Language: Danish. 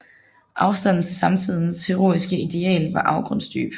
Afstanden til samtidens heroiske ideal var afgrundsdyb